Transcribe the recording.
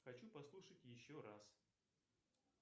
хочу послушать еще раз